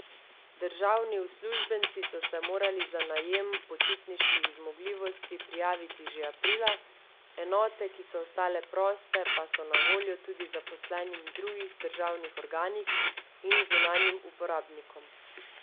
Državni uslužbenci so se morali za najem počitniških zmogljivosti prijaviti že aprila, enote, ki so ostale proste, pa so na voljo tudi zaposlenim v drugih državnih organih in zunanjim uporabnikom.